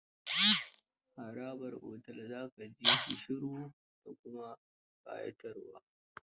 Harabar otel za ka ji shi shiru da kuma ƙayatarwa.